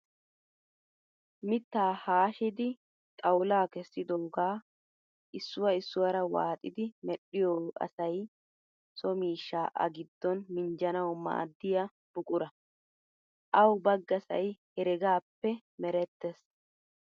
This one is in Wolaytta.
Mittaa haashidi xawula kessidoogaa issuwaa issuwaara waaxidi medhdhiyoo asay soo miishshaa A giddon minjjanawu maaddiyaa buquraa. Awu baggasayi heregaappe mirettes.